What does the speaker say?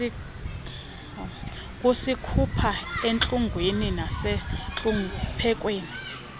kusikhupha entlungwini nasentluphekweni